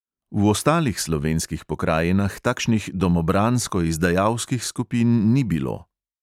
V ostalih slovenskih pokrajinah takšnih domobransko izdajalskih skupin ni bilo.